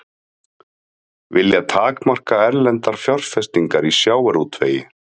Vilja takmarka erlendar fjárfestingar í sjávarútvegi